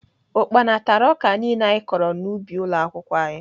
Ukpana tara ọka niile anyị kọrọ n'ubi ụlọakwụkwọ anyị